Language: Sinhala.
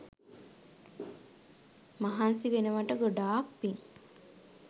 මහන්සි වෙනවට ගොඩාක් පිං!?